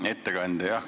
Hea ettekandja!